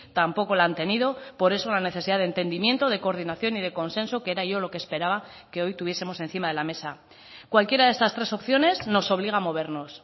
tampoco lo han tenido por eso la necesidad de entendimiento de coordinación y de consenso que era yo lo que esperaba que hoy tuviesemos encima de la mesa cualquiera de estas tres opciones nos obliga a movernos